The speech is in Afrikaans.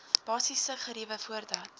basiese geriewe voordat